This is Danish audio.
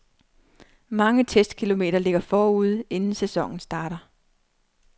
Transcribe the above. Mange testkilometer ligger forude, inden sæsonen starter.